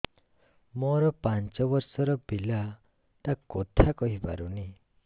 ମୋର ପାଞ୍ଚ ଵର୍ଷ ର ପିଲା ଟା କଥା କହି ପାରୁନି